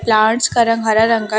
rods का रंग हरा रंग का--